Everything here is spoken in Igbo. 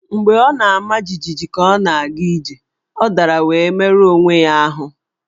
Mgbe ọ nọ na-ama jijiji ka ọ na-aga ije, ọ dara wee merụọ onwe ya ahụ́.